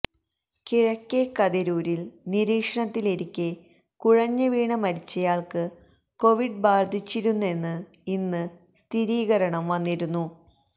കിഴക്കെകതിരൂരിൽ നിരീക്ഷണത്തിലിരിക്കെ കുഴഞ്ഞ് വീണ് മരിച്ചയാൾക്ക് കൊവിഡ് ബാധിച്ചിരുന്നെന്ന് ഇന്ന് സ്ഥിരീകരണം വന്നിരുന്നു